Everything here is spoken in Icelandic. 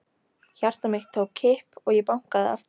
Hjarta mitt tók kipp og ég bankaði aftur.